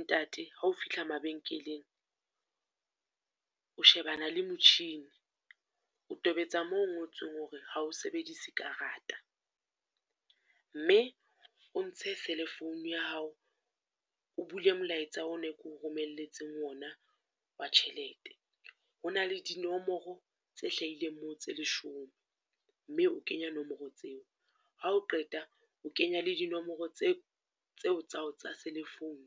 Ntate hao fihla mabenkeleng, o shebana le motjhini, o tobetsa moo ho ngotsweng hore ha o sebedise karata, mme o ntshe cell-e phone ya hao, o bule molaetsa o ne ke o romelletseng ona wa tjhelete. Ho na le dinomoro tse hlahileng moo tse leshome, mme o kenya nomoro tseo, ha o qeta o kenya le dinomoro tse tseo tsa tsa cell-e phone.